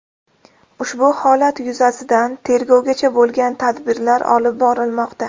Ushbu holat yuzasidan tergovgacha bo‘lgan tadbirlar olib borilmoqda.